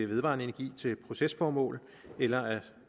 vedvarende energi til procesformål eller